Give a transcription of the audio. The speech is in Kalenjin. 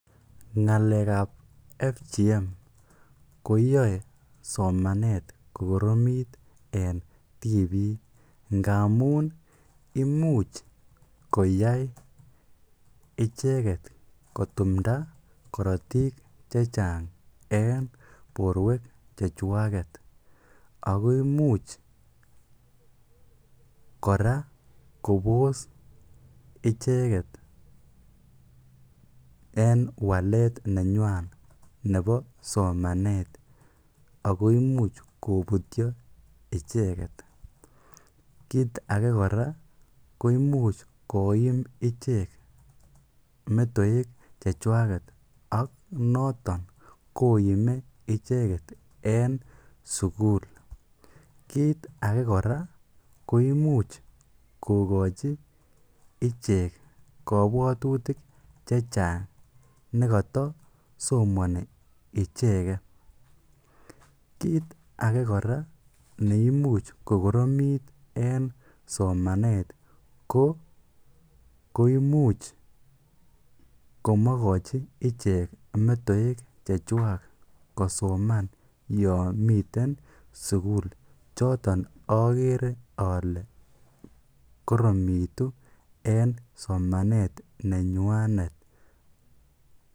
Ng'alek ap FGM koyoei somanet kokoromit eng tipik ngamun imuch koyai icheket kotumda korotik che chang eng borwek chechwaket ako imuch kora kopos ichek eng walet nenywan nebo somanet ako imuch koputio icheket ako kiit ake kora koimuch koim ichek metewek chechwaket ak noton koime icheket eng sukul kiit ake kora koimuch kokochi ichek kopwotutick che chang nikata somani icheket kiit ake kora neimuch kokoromit eng somanet koimuch komakachi ichek metewek chekwach kosoman yo miten sukul choton akere ale koronitu eng somanet nenywanet.